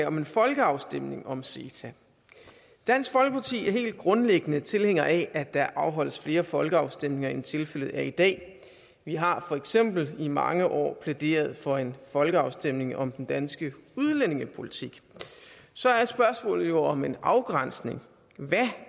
om en folkeafstemning om ceta dansk folkeparti er helt grundlæggende tilhænger af at der afholdes flere folkeafstemninger end tilfældet er i dag vi har for eksempel i mange år plæderet for en folkeafstemning om den danske udlændingepolitik så er spørgsmålet jo hvordan afgrænsningen